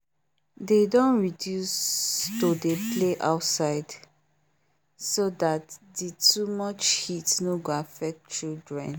they don reduce to dey play outside so that the too much heat no go affect children